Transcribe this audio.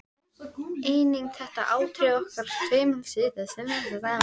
Einnig þetta atriði orkar tvímælis sem lýsandi staðreynd.